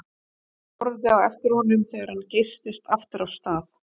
Þau horfðu á eftir honum þegar hann geystist aftur af stað.